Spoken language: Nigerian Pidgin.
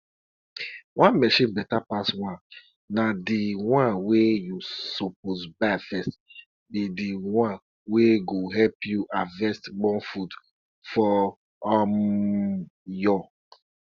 children wey um don big small dey use small um hoe dey learn how to cultivate before dey go come um dey do better farm work.